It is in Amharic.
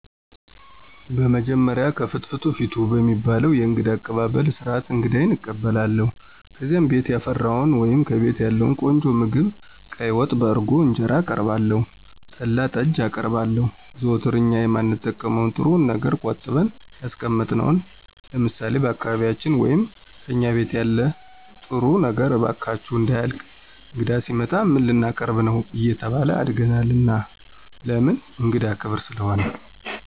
በመጀመሪያ "ከፍትፍቱ ፊቱ" በሚባለዉ የእንግዳ አቀባበል ስርዓት አንግዳየን እቀበላለሁ። ከዚያም ቤት ያፈራዉን ወይም ከቤቴ ያለዉን ቆንጆ ምግብ ቀይ ወጥ፣ በእርጎ እንጀራአቀርባለሁ, ጠላ, ጠጅ አቀርባለሁ, ዘወትር እኛ የማንጠቀመዉን ጥሩዉን ነገር ቆጥበን ያስቀመጥነዉን ለምሳሌ፦ በአካባቢያችን ወይም "ከእኛ ቤት ያለን ጥሩዉ ነገር እባካችሁ እንዳያልቅ እንግዳ ሲመጣ ምን ላቀርብ ነዉ አየተባልን አድገናል ለምን እንግዳ ክብር ስለሆነ።